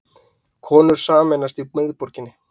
Konur sameinast í miðborginni